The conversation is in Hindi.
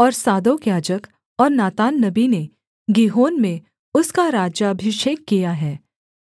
और सादोक याजक और नातान नबी ने गीहोन में उसका राज्याभिषेक किया है